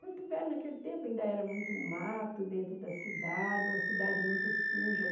Porto Velho, naquele tempo, ainda era muito mato dentro da cidade, uma cidade muito suja.